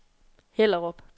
Hellerup